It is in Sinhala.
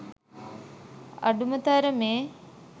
අඩුම තරමේ